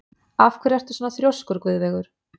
Af hverju ertu svona þrjóskur, Guðveigur?